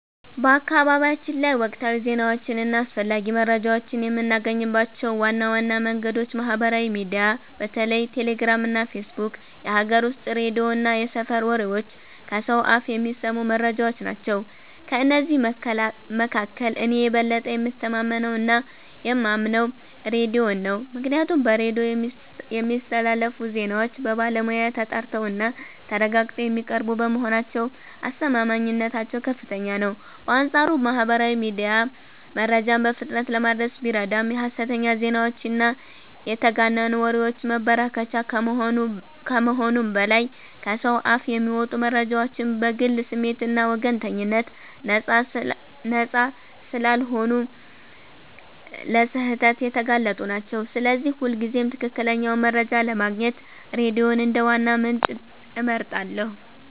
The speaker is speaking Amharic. በአካባቢያችን ላይ ወቅታዊ ዜናዎችን እና አስፈላጊ መረጃዎችን የምናገኝባቸው ዋና ዋና መንገዶች ማህበራዊ ሚዲያ (በተለይ ቴሌግራም እና ፌስቡክ)፣ የሀገር ውስጥ ሬዲዮ እና የሰፈር ወሬዎች (ከሰው አፍ የሚሰሙ መረጃዎች) ናቸው። ከእነዚህ መካከል እኔ የበለጠ የምተማመነውና የማምነው ሬዲዮን ነው፤ ምክንያቱም በሬዲዮ የሚስተላለፉ ዜናዎች በባለሙያ ተጣርተውና ተረጋግጠው የሚቀርቡ በመሆናቸው አስተማማኝነታቸው ከፍተኛ ነው። በአንጻሩ ማህበራዊ ሚዲያ መረጃን በፍጥነት ለማድረስ ቢረዳም የሐሰተኛ ዜናዎችና የተጋነኑ ወሬዎች መበራከቻ ከመሆኑም በላይ፣ ከሰው አፍ የሚመጡ መረጃዎችም ከግል ስሜትና ወገንተኝነት ነፃ ስላልሆኑ ለስህተት የተጋለጡ ናቸው፤ ስለዚህ ሁልጊዜም ትክክለኛውን መረጃ ለማግኘት ሬዲዮን እንደ ዋና ምንጭ እመርጣለሁ።